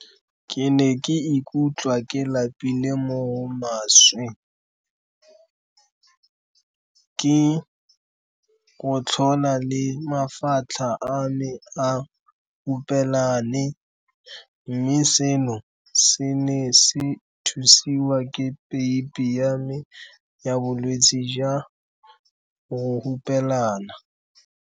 Ke ne ke ikutlwa ke lapile mo go maswe, ke gotlhola le mafatlha a me a hupelane, mme seno se ne se thusiwa ke peipi ya me ya bolwetse jwa go hupelana.